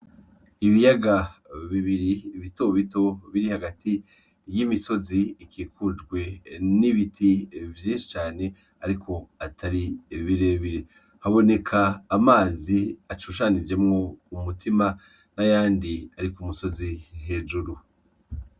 Ibiyaga bibiri bitobito biri hagati y'imisozi ikikujwe n'ibiti vyinshi cyane mugabo atari birebire .Haboneka amazi ashushanijwemwo umutima n'ayandi ari ku musozi hejuru.